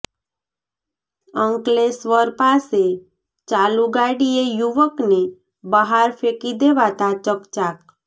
અંકલેશ્વર પાસે ચાલુ ગાડીએ યુવકને બહાર ફેંકી દેવાતા ચકચાર